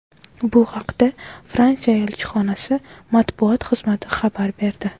Bu haqda Fransiya elchixonasi matbuot xizmati xabar berdi .